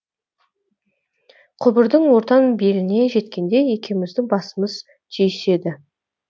құбырдың ортан беліне жеткенде екеуіміздің басымыз түйіседі